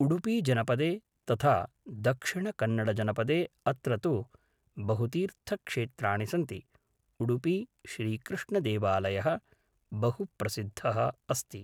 उडुपीजनपदे तथा दक्षिणकन्नडजनपदे अत्र तु बहुतीर्थक्षेत्राणि सन्ति उडुपी श्रीकृष्णदेवालयः बहु प्रसिद्धः अस्ति